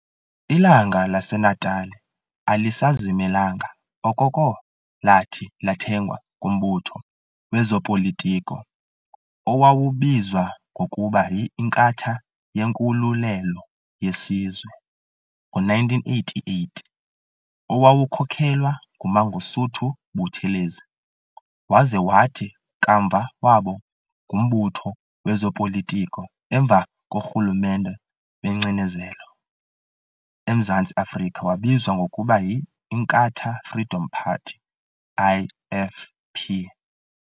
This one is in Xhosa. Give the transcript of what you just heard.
"Ilanga laseNatali" alisazimelanga okoko lathi lathengwa ngumbutho wezopolitiko owawubizwa ngokuba y"Inkatha yeNkululelo yeSizwe" ngo-1988, owawukhokhelwa nguMangosuthu Buthelezi, waza wathi kamva waba ngumbutho wezopolitiko emva korhulumente wengcinezelo emZantsi Afrika wabizwa ngokuba yInkatha Freedom Party, IFP.